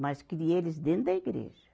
Mas criei eles dentro da igreja.